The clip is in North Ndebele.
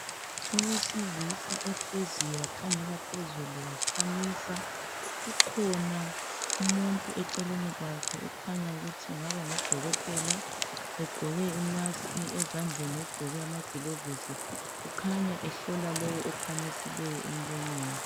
Owesilisa ohleziyo wakhangela phezulu wakhamisa kukhona umuntu eceleni kwakhe okukhanya ukuthi engaba ngu dokotela egqoke i mask ezandleni ugqoke amagilovosi kukhanya ehlola lowo okhamisileyo emlonyeni